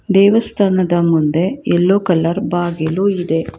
ದೇವಸ್ಥಾನದ ಮುಂದೆ yellow colour ಬಾಗಿಲು ಇದೆ.